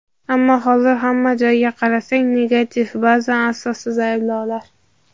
ammo hozir hamma joyga qarasang "negativ" ba’zan asossiz ayblovlar.